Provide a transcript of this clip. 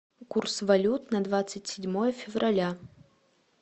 курс валют на двадцать седьмое февраля